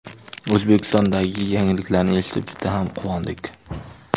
O‘zbekistondagi yangiliklarni eshitib juda ham quvondik.